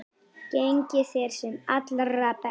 Gangi þér sem allra best.